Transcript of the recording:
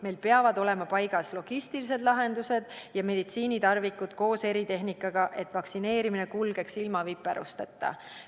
Meil peavad olema paigas logistilised lahendused ja meditsiinitarvikud koos eritehnikaga, et vaktsineerimine kulgeks viperusteta.